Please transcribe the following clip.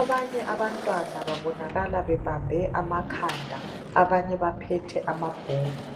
Abanye abantwana babonakala bebambe amakhanda. Abanye baphethe amabhuku.